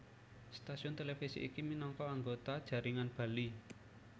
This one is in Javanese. Stasiun televisi iki minangka anggota jaringan Bali